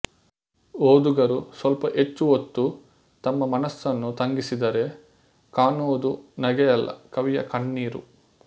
ಓದುಗರು ಸ್ವಲ್ಪ ಹೆಚ್ಚು ಹೊತ್ತು ತಮ್ಮ ಮನಸ್ಸನ್ನು ತಂಗಿಸಿದರೆ ಕಾಣುವುದು ನಗೆಯಲ್ಲ ಕವಿಯ ಕಣ್ಣೀರು